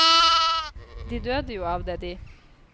De døde jo av det de!